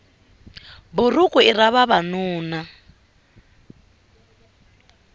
buruku i ra vavanuna